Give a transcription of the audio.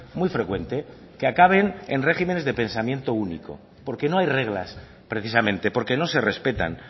muy frecuente que acaben en regímenes de pensamiento único porque no hay reglas precisamente porque no se respetan